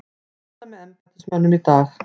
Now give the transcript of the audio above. Funda með embættismönnum í dag